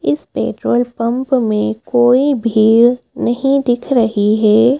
इस petrol pump में कोई भीड़ नहीं दिख रही है।